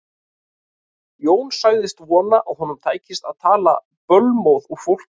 Jón sagðist vona að honum tækist að tala bölmóð úr fólki.